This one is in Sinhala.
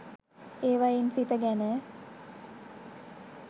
ඒවයින් සිත ගැන